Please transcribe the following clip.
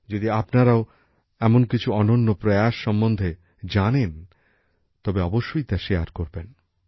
যদি আপনারাও এমন কিছু অনন্য প্রয়াস সম্বন্ধে জানেন তবে অবশ্যই তা শেয়ার করবেন